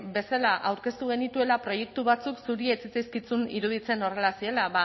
bezala aurkeztu genituela proiektu batzuk zuri ez zitzaizkizun iruditzen horrela zirela